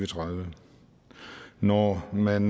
tredive når man